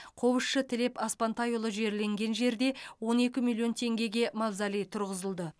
қобызшы тілеп аспантайұлы жерленген жерде он екі миллион теңгеге мавзолей тұрғызылды